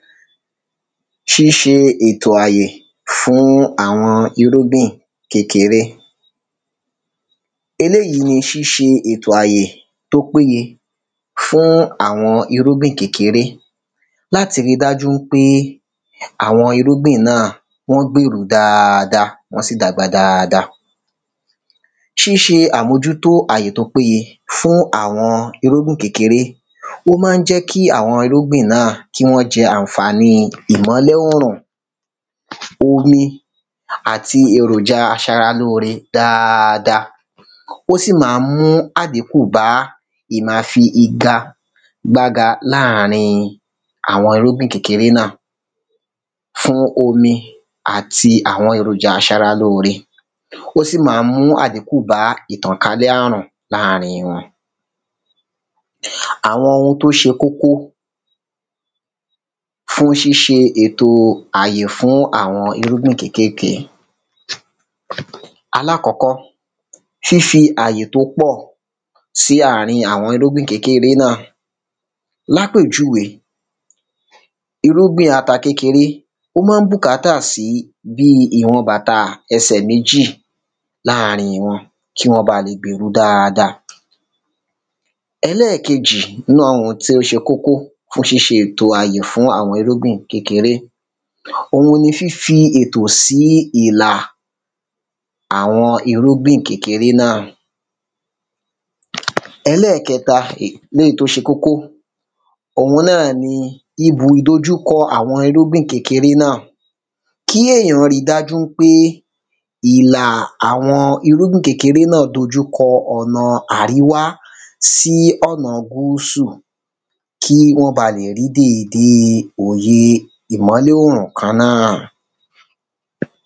ṣíṣe ètò àyè fún àwọn irúgbìn kékeré eléyi ni ṣíṣe ètò àyè tó pé ye fún àwọn irúgbìn kékeré láti ri dájú ń pé àwọn irúgbìn náà wọn gbèru daada wọ́n sì dàgbà daada ṣíṣe àmójútó àyè tó pé ye fún àwọn irúgbìn kékeré ó má ń jẹ́ kí àwọn irúgbìn náà kí wọ́n jẹ àǹfàni ìmọ́lẹ̀ ọ́rùn omi àti èròjà aṣara lóore daada ó sì ma mú àdínkù bá ì ma fi iga gbága làárín àwọn irúgbìn kékeré náà fún omi àti àwọn èròjà aṣara lóore ó sì ma mú àdínkù bá ìtànkálẹ̀ àrùn làárín wọn àwọn ohun tó ṣe kókó fún ṣíṣe ètò àyè fún àwọn irúgbìn kékéèké alákọ́kọ́ fífi àyè tó pọ̀ sí àárin àwọn àwọn irúgbìn kékeré náà lápèjúwe irúgbìn ata kékeré ó má ń bùkátà sí bíi ìwọn bàtà ẹsẹ̀ mejì làárín wọn kí wọ́n ba lè gbèru daada ẹlẹ́kejì inú àwọn tó ṣe kókó fún ṣíṣe ètò àyè fún àwọn irúgbìn kékeré òun ni fífi ètò ìlà àwọn irúgbìn kékeré ẹlẹ́kẹta léyí tó ṣe kókó òun náà ni ibù ìdojúkọ àwọn irúgbìn kékeré náà kí èyàn ri dájú ń pé ìlà àwọn irúgbìn kékeré náà dojúkọ ònà àríwá sí ònà gúúsù kí wọ́n ba lè ri dèède òye ìmọ́lẹ̀ òrùn kan náà